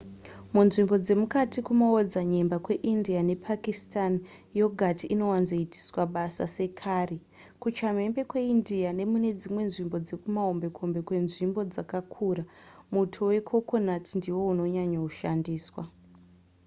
munzvimbo dzemukati dzekumaodzanyemba kweindia nepakistan yogati inowanzoitiswa basa sekari kuchamhembe kweindia nemune dzimwe nzvimbo dzekumahombekombe kwenzvimbo dzakakura muto wekokonati ndiwo unonyanya kushandiswa